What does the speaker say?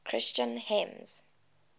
christian hymns